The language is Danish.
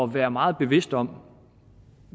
være meget bevidst om